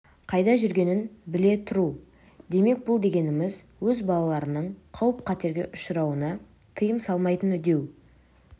қайда жүргенін біле тұру демек бұл дегеніміз өз балаларының қауіп қатерге ұшырауына тыйым салмайтыны деу